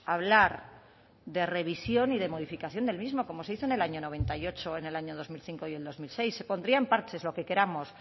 hablar de revisión y de modificación del mismo como se hizo en el año noventa y ocho en el año dos mil cinco y el dos mil seis se pondrían parches lo que queramos